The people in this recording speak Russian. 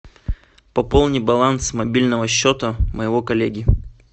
пополни баланс мобильного счета моего коллеги